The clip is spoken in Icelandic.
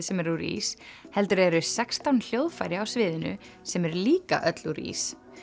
sem er úr ís heldur eru sextán hljóðfæri á sviðinu sem eru líka öll úr ís